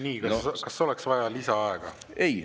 Nii, kas oleks vaja lisaaega?